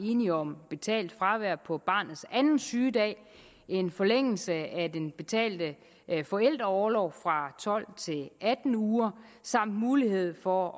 enige om betalt fravær på barnets anden sygedag en forlængelse af den betalte forældreorlov fra tolv til atten uger samt mulighed for